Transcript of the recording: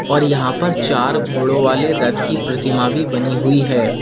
और यहां पर चार घोड़ो वाले रथ की प्रतिमा भी बनी हुई है।